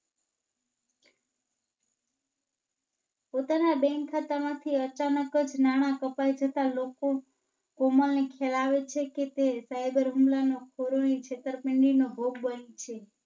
પોતાના ના Bank ખાતા માથી અચાનક જ નાણાં કપાઈ જતાં લોકો પ્રમાણિત ધરાવે છે કે તે Cyber હુમલા નો છેતરપિંડી નો ભોગ બનશે.